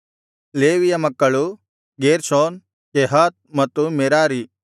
ಲೇವಿಯ ಮಕ್ಕಳು Gershon Kohath ಮತ್ತು Merari